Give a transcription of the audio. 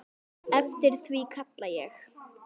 Eftir því kalla ég.